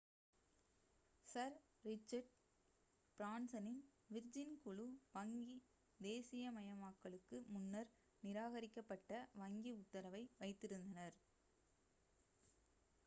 sir Richard பிரான்சனின் Virgin குழு வங்கி தேசீயமயமாக்களுக்கு முன்னர் நிராகரிக்கப்பட்ட வங்கி உத்தரவை வைத்திருந்தனர்